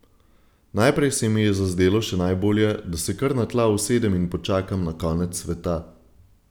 Najprej se mi je zazdelo še najbolje, da se kar na tla usedem in počakam na konec sveta.